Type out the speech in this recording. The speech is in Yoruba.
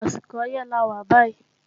Àsìkò ọyẹ́ lawà bàyí